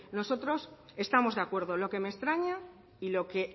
nosotros estamos de acuerdo lo que me extraña y lo que